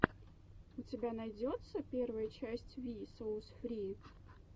у тебя найдется первая часть ви соус фри